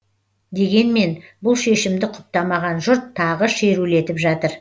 дегенмен бұл шешімді құптамаған жұрт тағы шерулетіп жатыр